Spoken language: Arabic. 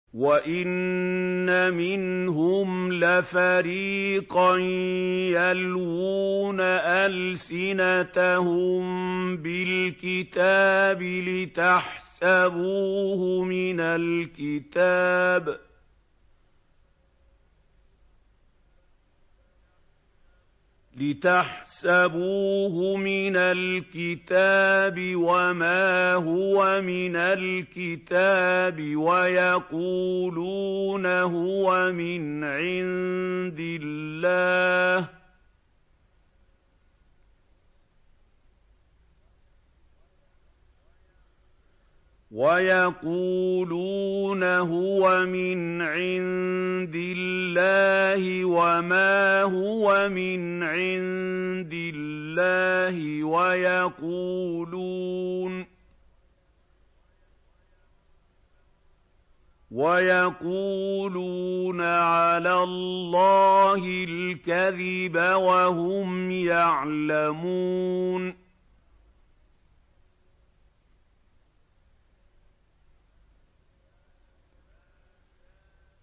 وَإِنَّ مِنْهُمْ لَفَرِيقًا يَلْوُونَ أَلْسِنَتَهُم بِالْكِتَابِ لِتَحْسَبُوهُ مِنَ الْكِتَابِ وَمَا هُوَ مِنَ الْكِتَابِ وَيَقُولُونَ هُوَ مِنْ عِندِ اللَّهِ وَمَا هُوَ مِنْ عِندِ اللَّهِ وَيَقُولُونَ عَلَى اللَّهِ الْكَذِبَ وَهُمْ يَعْلَمُونَ